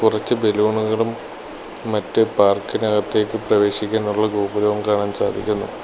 കുറച്ച് ബലൂണുകളും മറ്റ് പാർക്കിനകത്തേക്ക് പ്രവേശിക്കാനുള്ള ഗോപുരവും കാണാൻ സാധിക്കുന്നു.